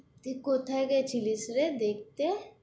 তুই কোথায় গেছেলিস রে দেখতে?